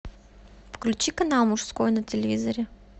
включи канал мужской на телевизоре